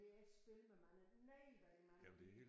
Men det er et spil med mange nej hvor er der mange